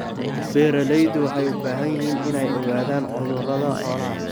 Beeraleydu waxay u baahan yihiin inay ogaadaan cudurrada xoolaha.